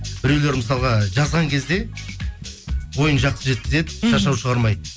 біреулер мысалға жазған кезде ойын жақсы жеткізеді шашау шығармайды